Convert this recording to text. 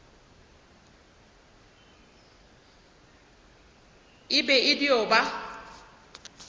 e be e dio ba